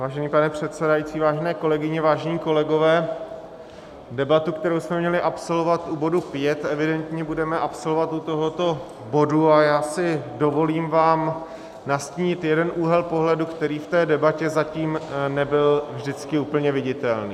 Vážený pane předsedající, vážené kolegyně, vážení kolegové, debatu, kterou jsme měli absolvovat u bodu pět, evidentně budeme absolvovat u tohoto bodu a já si dovolím vám nastínit jeden úhel pohledu, který v té debatě zatím nebyl vždycky úplně viditelný.